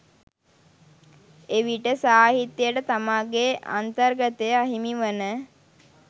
එවිට සාහිත්‍යයට තමාගේ අන්තර්ගතය අහිමිවන